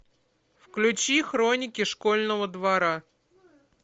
включи хроники школьного двора